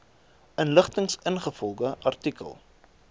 inligting ingevolge artikel